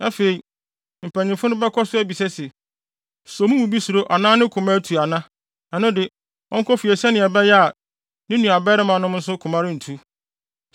Afei, mpanyimfo no bɛkɔ so abisa se, “So mo mu bi suro anaa ne koma atu ana? Ɛno de, ɔnkɔ fie sɛnea ɛbɛyɛ a, ne nuabarimanom nso koma rentu.”